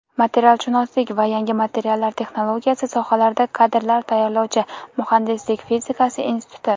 materialshunoslik va yangi materiallar texnologiyasi sohalarida kadrlar tayyorlovchi Muhandislik fizikasi instituti;.